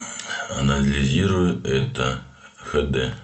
анализируй это хд